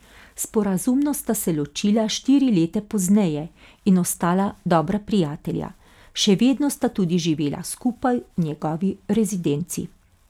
Sporazumno sta se ločila štiri leta pozneje in ostala dobra prijatelja, še vedno sta tudi živela skupaj v njegovi rezidenci.